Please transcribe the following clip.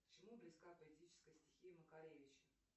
к чему близка политическая стихия макаревича